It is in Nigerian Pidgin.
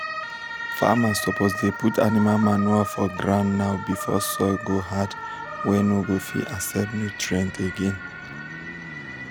famers suppose dey put animal manure for ground now before soil go hard wey no go fit accept nutrients again.